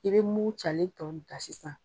I bɛ mun calen tɔ da